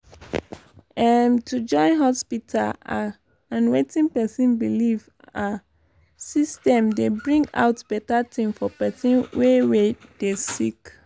em- to join hospita ah and wetin pesin belief ah system dey bring out beta tin for pesin wey wey dey sick